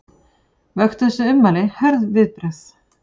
Vöktu þessi ummæli hörð viðbrögð